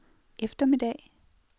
eftermiddag